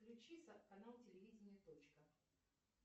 влючи канал телевидения точка